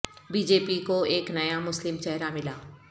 be J P کو ایک نیا مسلم چہرہ ملا